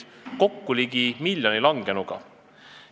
Kokku langes seal ligi miljon inimest.